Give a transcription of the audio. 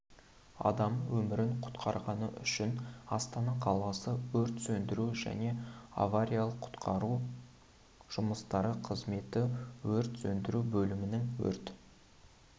адам өмірін құтқарғаны үшін астана қаласы өрт сөндіру және авариялық-құтқару жұмыстары қызметі өрт сөндіру бөлімінің өрт